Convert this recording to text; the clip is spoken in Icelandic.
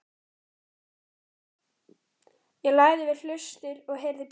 Ég lagði við hlustir og heyrði pískur.